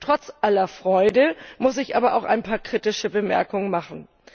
Trotz aller Freude muss ich aber auch ein paar kritische Bemerkungen machen.